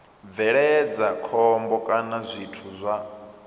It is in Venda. bveledza khombo kana zwithu zwa